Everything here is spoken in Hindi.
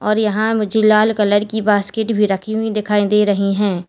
और यहां मुझे लाल कलर की बास्केट भी रखी हुई दिखाई दे रही हैं।